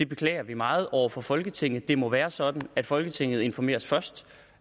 beklager det meget over for folketinget det må være sådan at folketinget informeres først